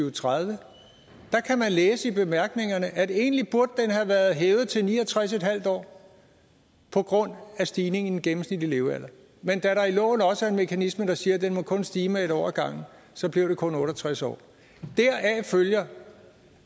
og tredive kan man læse i bemærkningerne at den egentlig burde have været hævet til ni og tres en halv år på grund af stigningen i den gennemsnitlige levealder men da der i loven også er en mekanisme der siger at den kun må stige med en år ad gangen så blev det kun otte og tres år deraf følger